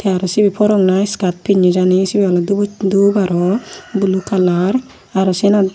tey aro sibey forok na iskaat pinney jani sibey oley dubu dup aro blue kalara aro syenot.